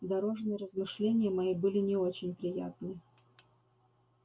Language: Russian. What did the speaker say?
дорожные размышления мои были не очень приятны